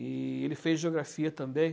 E ele fez geografia também.